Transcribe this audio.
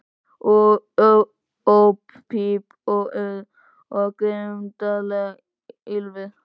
Óp píp og urr, og grimmdarlegt ýlfur.